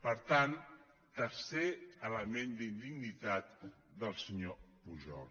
per tant tercer element d’indignitat del senyor pujol